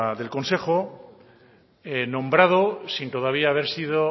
del consejo nombrado sin todavía haber sido